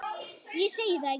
Ég segi það ekki.